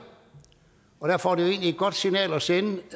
derfor er det egentlig et godt signal at sende